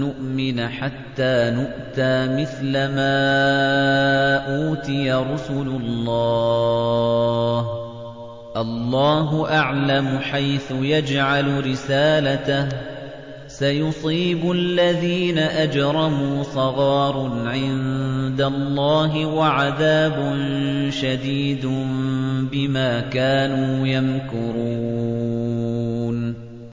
نُّؤْمِنَ حَتَّىٰ نُؤْتَىٰ مِثْلَ مَا أُوتِيَ رُسُلُ اللَّهِ ۘ اللَّهُ أَعْلَمُ حَيْثُ يَجْعَلُ رِسَالَتَهُ ۗ سَيُصِيبُ الَّذِينَ أَجْرَمُوا صَغَارٌ عِندَ اللَّهِ وَعَذَابٌ شَدِيدٌ بِمَا كَانُوا يَمْكُرُونَ